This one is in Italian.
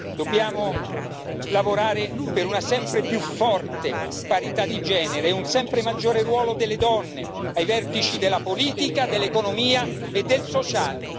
Dobbiamo lavorare per una sempre più forte parità di genere e un sempre maggiore ruolo delle donne ai vertici della politica, dell'economia e del sociale.